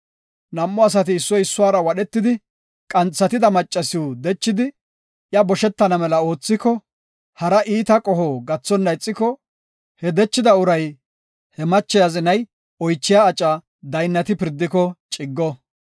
“Nam7u asati issoy issuwara wadhetidi qanxatida maccasiw dechidi, iya boshetana mela oothiko, hara iita qoho gathonna ixiko, he dechida uray, he mache azinay oychiya aca daynnati pirdiko ciggo.